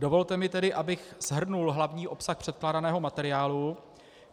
Dovolte mi tedy, abych shrnul hlavní obsah předkládaného materiálu.